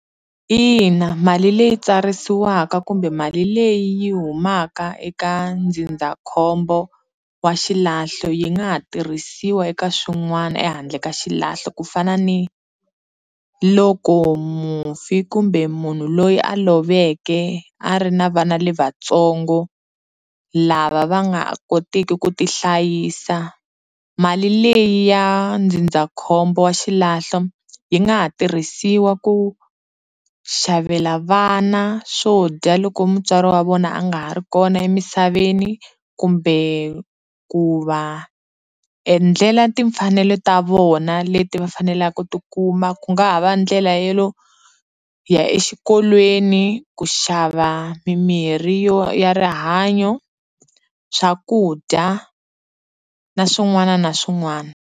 Ina, mali leyi tsarisiwaka kumbe mali leyi yi humaka eka ndzindzakhombo wa xilahlo yi nga ha tirhisiwa eka swin'wana ehandle ka xilahlo ku fana ni loko mufi kumbe munhu loyi a loveke a ri na vana lavatsongo lava va nga ha kotiki ku ti hlayisa mali leyi ya ndzindzakhombo wa xilahlo yi nga ha tirhisiwa ku xavela vana swo dya loko mutswari wa vona a nga ha ri kona emisaveni kumbe ku va endlela timfanelo ta vona leti va faneleke ku ti kuma ku nga ha va ndlela yo ya exikolweni, ku xava mimirhi yo ya rihanyo, swakudya na swin'wana na swin'wana.